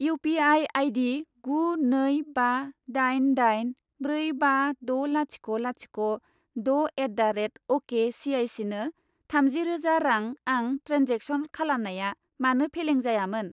U P I आइदि गु नै बा दाइन दाइन ब्रै बा द लाथिख' लाथिख' द' एट दा रेट अ'के सिआइसिनो थामजि रोजा रां आं ट्रेन्जेक्सन खालामनाया मानो फेलें जायामोन?